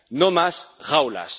No más jaulas.